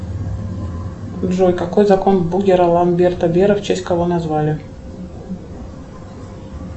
джой какой закон бугера ламберта бера в честь кого назвали